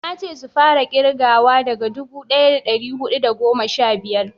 nace su fara kirgawa daga dubu daya da dari hudu da goma sha biyar